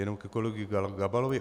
Jenom ke kolegovi Gabalovi.